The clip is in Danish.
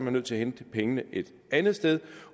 er nødt til at hente pengene et andet sted